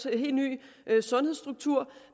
en helt ny sundhedsstruktur